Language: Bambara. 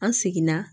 An seginna